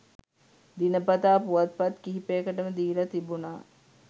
දිනපතා පුවත්පත් කිහිපයකටම දීලා තිබුණා